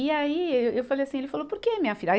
E aí, eu falei assim, ele falou, por que minha filha? aí